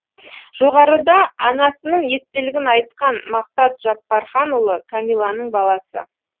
жоғарыда анасының естелігін айтқан мақсат жаппарханұлы кәмиланың баласы